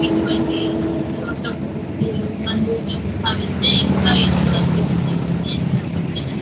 ఇటు వంటి చోటలకు మిత్రులు బంధువులు సహా వెళ్తే ఇంకా ఏంతో అద్భుతంగా సమయాన్ని గడపవచ్చు.